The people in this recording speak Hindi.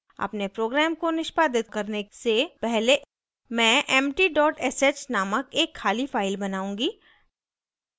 अपने program को निष्पादित करने से पहले मैं empty dot sh named एक खाली फाइल बनाऊँगी